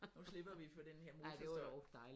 Nu slipper vi for den her motorstøj